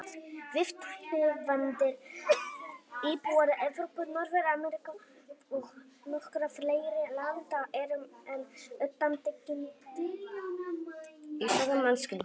Við, tæknivæddir íbúar Evrópu, Norður-Ameríku og nokkurra fleiri landa, erum enn undantekning í sögu mannkynsins.